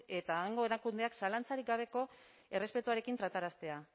eta hango erakundeak zalantzarik gabeko errespetuarekin trataraztea